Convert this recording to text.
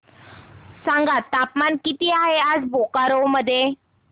सांगा तापमान किती आहे आज बोकारो मध्ये